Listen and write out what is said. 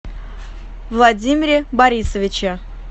владимире борисовиче